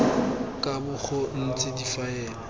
ka bo go ntse difaele